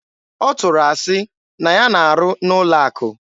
Ọ tụrụ asị na ya na-arụ n'ụlọ akụ.